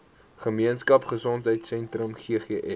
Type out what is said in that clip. gemeenskap gesondheidsentrum ggs